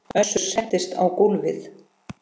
Össur settist á gólfið